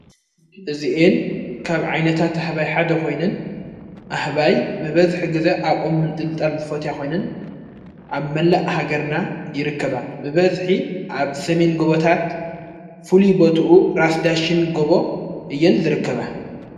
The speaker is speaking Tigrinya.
እዚእን ካብ ዓይነታት ኣህባይ ሓደ ኾይንን ኣሕባይ ብበዝኂ ጊዘ ኣብ ኦምን ጥልጣል ዝፈት ያኾይንን ኣብ መላእ ሃገርና ይርከባ ብበዝኂ ኣብ ሰሜን ጎበታት ፍሉ ቦቱኡ ራስዳሽን ጐቦ እየን ዝርከባ::